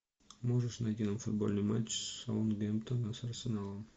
можешь найти нам футбольный матч саутгемптона с арсеналом